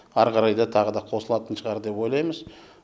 әрі қарай да тағы да қосылатын шығар деп ойлаймыз